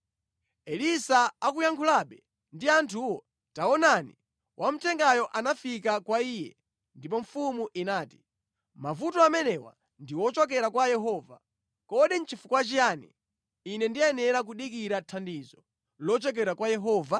Elisa akuyankhulabe ndi anthuwo, taonani, wamthengayo anafika kwa iye. Ndipo mfumu inati, “Mavuto amenewa ndi ochokera kwa Yehova. Kodi nʼchifukwa chiyani ine ndiyenera kudikira thandizo lochokera kwa Yehova?”